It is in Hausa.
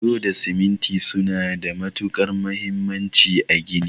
Bulo da siminti suna da matukar muhimmanci a gini.